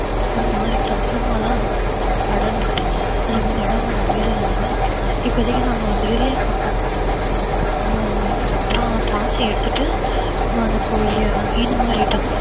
ஒரு மாதிரி சதுரமா தான் அது போவும் படர்ந்துகிட்டே அது வந்து இடம் வந்து அமையறதனால இப்போதைக்கு நாங்க வந்து இதுலயே போட்டோம் ஹம் திரா~ திராட்சை எடுத்துட்டு நம்ம வந்து கொய்யா இந்த மாதிரி